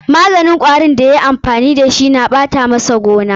Maganin kwarin da ya yi amfani da su na ɓata masa gona.